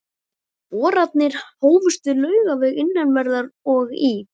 Boranir hófust við Laugaveg innanverðan og í